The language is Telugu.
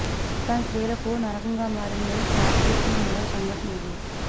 రాజస్థాన్ స్త్రీలకు నరకంగా మారిందని చాటి చెప్పే మరో సంఘటన ఇది